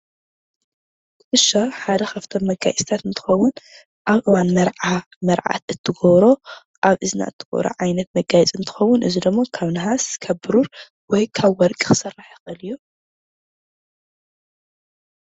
ኩትሻ ሓደ ካብቶም መጋየፂተት እንትከውን ኣብ እዋን መርዓ መርዓት እትገብሮ ኣብ እዝና እትገብሮ ዓይነት መጋየፂ እንትከውን ፤እዙይ ደሞ ካብ ነሃስ፣ ካብ ብሩር ወይ ካብ ወርቂ ክስራሕ ይኽእል እዩ።